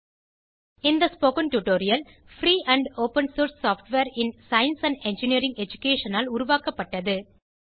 இந்த spoken tutorial free and open source software in science and engineering education ஆல் உருவாக்கப்பட்டது